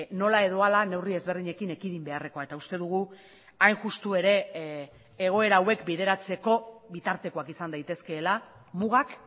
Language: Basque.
nola edo hala neurri ezberdinekin ekidin beharrekoa eta uste dugu hain justu ere egoera hauek bideratzeko bitartekoak izan daitezkeela mugak